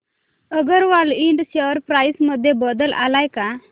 अगरवाल इंड share price मध्ये बदल आलाय का